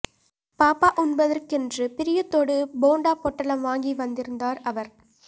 பாபா உண்பதற்குஎன்று பிரியத்தோடு போண்டா பொட்டலம் வாங்கி வந்திருந்தார் அவர்